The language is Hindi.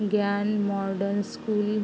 ज्ञान मॉडर्न स्कूल --